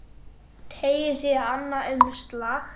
Teygir sig í annað umslag.